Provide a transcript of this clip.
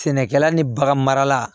Sɛnɛkɛla ni bagan mara la